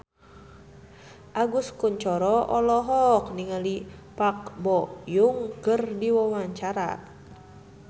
Agus Kuncoro olohok ningali Park Bo Yung keur diwawancara